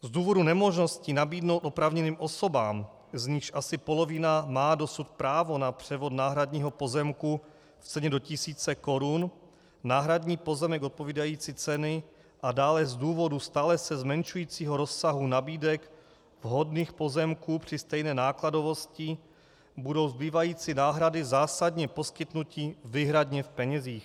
Z důvodu nemožnosti nabídnout oprávněným osobám, z nichž asi polovina má dosud právo na převod náhradního pozemku v ceně do tisíce korun, náhradní pozemek odpovídající ceny a dále z důvodu stále se zmenšujícího rozsahu nabídek vhodných pozemků při stejné nákladovosti budou zbývající náhrady zásadně poskytnuty výhradně v penězích.